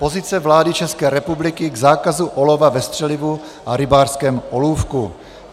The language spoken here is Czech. Pozice vlády České republiky k zákazu olova ve střelivu a rybářském olůvku